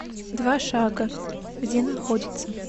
два шага где находится